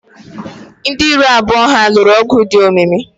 Ndị iro abụọ ha lụrụ ọgụ dị omimi.